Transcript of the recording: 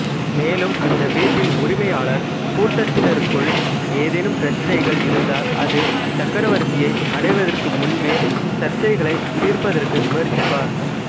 மேலும் அந்த வீட்டின் உரிமையாளர் கூட்டத்தினருக்குள் ஏதேனும் பிரச்சினைகள் இருந்தால் அது சக்கரவர்த்தியை அடைவதற்கு முன்பே சர்ச்சைகளைத் தீர்ப்பதற்கு முயற்சிப்பார்